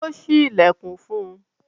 Ó ṣí ìlẹ̀kùn fún un.